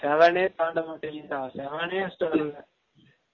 seven ஏ தாண்ட மாடிங்குது டா seven ஏ first வரல